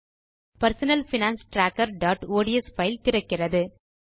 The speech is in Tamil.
பெர்சனல் பைனான்ஸ் trackerஒட்ஸ் பைல் திறக்கிறது